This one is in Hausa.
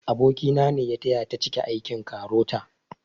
Aboki na ne ya taya ta cike aikin KAROTA